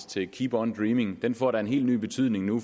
til keep on dreaming får da en helt ny betydning nu